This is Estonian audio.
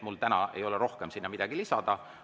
Mul täna ei ole rohkem sinna midagi lisada.